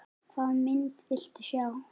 Hvaða mynd viltu sjá?